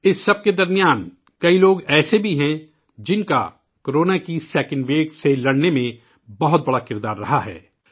اس سب کے بیچ کئی لوگ ایسے بھی ہیں ، جن کی کورونا کی دوسری لہر سے لڑنے میں بہت بڑا رول رہا ہے